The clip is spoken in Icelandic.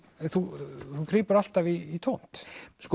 þú grípur alltaf í tómt